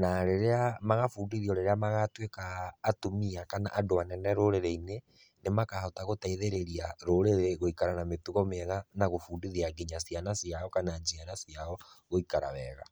na rĩria, magabundithio rĩria magatuĩka atumia ,kana andũ anene rũrĩrĩ-inĩ nĩ makahota gũteithirĩria rũrĩrĩ gũikara na mĩtugo mĩega na gũbundithia nginya ciana ciao kana njiarwa ciao gũikara wega.